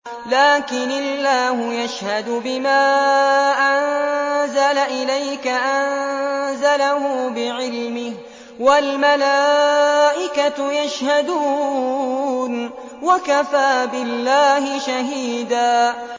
لَّٰكِنِ اللَّهُ يَشْهَدُ بِمَا أَنزَلَ إِلَيْكَ ۖ أَنزَلَهُ بِعِلْمِهِ ۖ وَالْمَلَائِكَةُ يَشْهَدُونَ ۚ وَكَفَىٰ بِاللَّهِ شَهِيدًا